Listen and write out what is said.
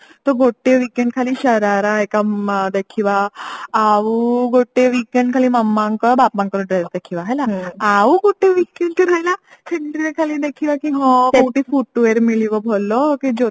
ତ ଗୋଟେ weekend ଖାଲି ସରାରା ହେଇକା ଦେଖିବା ଆଉ ଗୋଟେ weekend ଖାଲି ମାମାଙ୍କ ବାବାଙ୍କର dress ଦେଖିବା ହେଲା ଆଉ ଗୋଟେ weekend ରହିଲା ସେଥିରେ ଖାଲି ଦେଖିବା କି ହଁ footwear ମିଳିବ ଭଲ କି